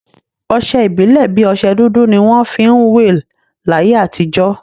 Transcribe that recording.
Ọsẹ ìbílè bi ọsẹ dúdú ni wọn fi ń will láyé àtijọ́